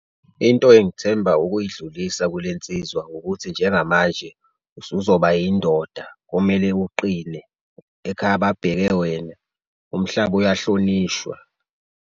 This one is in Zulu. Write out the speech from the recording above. Into engithemba ukuyidlulisa kulensizwa ukuthi njengamanje usuzoba yindoda kumele uqine, ekhaya babheke wena, umhlaba ayahlonishwa.